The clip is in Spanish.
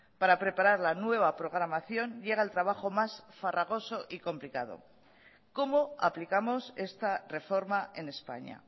para preparar la nueva programación llega el trabajo más farragoso y complicado cómo aplicamos esta reforma en españa